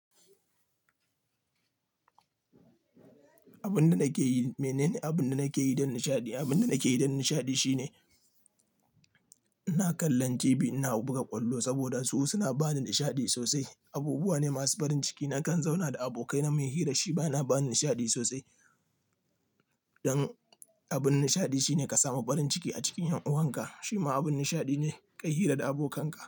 Abin da nake yi, mene ne abin da nake yi don nishaɗi? Abin da nake yi don nishaɗi shine ina kallon TV, ina buga ƙwallo saboda su suna ba ni nishaɗi sosai. Abubuwa ne masu farin ciki. Nakan zauna da abokai na mun hira, shi bana ba ni nishaɗi sosai. Don abin nishaɗi shine ka samu farin ciki a cikin ƴan'uwanka. Shi ma abin nishaɗi ne ka yi hira da abokanka.